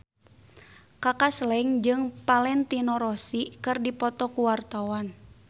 Kaka Slank jeung Valentino Rossi keur dipoto ku wartawan